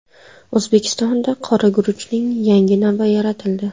O‘zbekistonda qora guruchning yangi navi yaratildi.